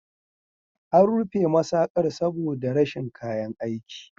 An rufe masaƙar saboda rashin kayan aiki.